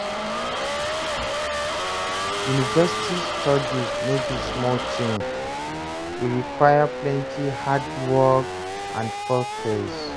University studies no be small tin, e require plenty hard work and focus